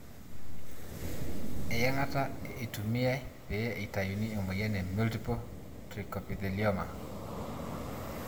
Eyangata eitumiyae pee itayuni emoyian e multiple trichoepithelioma.